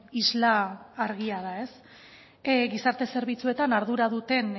isla argia da ez gizarte zerbitzuetan ardura duten